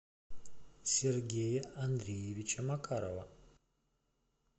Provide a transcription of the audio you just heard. сергея андреевича макарова